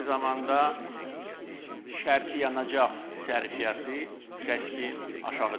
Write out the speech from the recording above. Eyni zamanda şərti yanacaq sərfiyyatı kəskin aşağı düşəcək.